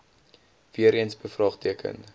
weer eens bevraagteken